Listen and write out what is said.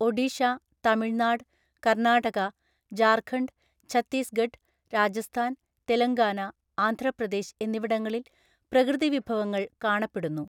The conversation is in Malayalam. ഒഡിഷ, തമിഴ്നാട്, കർണാടക, ജാർഖണ്ഡ്, ഛത്തീസ്ഗഢ്, രാജസ്ഥാൻ, തെലങ്കാന, ആന്ധ്രാപ്രദേശ് എന്നിവിടങ്ങളിൽ പ്രകൃതിവിഭവങ്ങള്‍ കാണപ്പെടുന്നു.